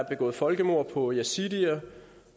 begået folkemord på yazidierne